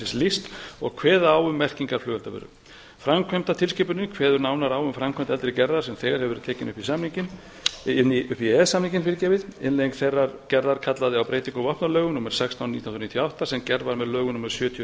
rekjanleikakerfisins lýst og kveða á um merkinga flugeldavöru framkvæmdartilskipunin kveður nánar á um framkvæmd eldri gerðar sem þegar hefur verið tekin upp í samninginn upp í e e s samninginn innleiðing þeirrar gerðar kallaði á breytingu á vopnalögum númer sextán nítján hundruð níutíu og átta sem gerð var með lögum númer sjötíu og